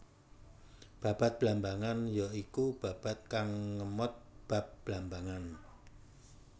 Babad Blambangan ya iku babad kang ngemot bab Blambangan